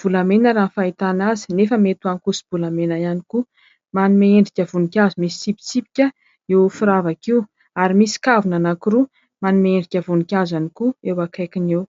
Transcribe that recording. Volamena raha ny fahitana azy nefa mety ho ankoso-bolamena ihany koa. Manome endrika voninkazo misy tsipitsipika io firavaka io. Ary misy kavina anankiroa manome endrika voninkazo ihany koa eo akaikiny eo.